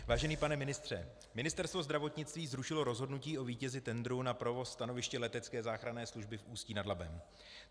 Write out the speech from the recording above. Vážený pane ministře, Ministerstvo zdravotnictví zrušilo rozhodnutí o vítězi tendru na provoz stanoviště letecké záchranné služby v Ústí nad Labem.